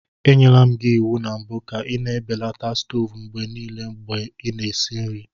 Enyere m gị iwu na mbụ ka ị na-ebelata stovu mgbe niile mgbe ị na-esi nri.